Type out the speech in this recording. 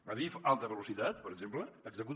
adif alta velocitat per exemple executa